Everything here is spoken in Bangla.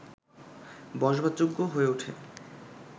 বসবাসযোগ্য হয়ে ওঠে